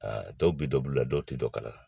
tɔw bɛ dɔn bulula dɔw tɛ dɔn kala la.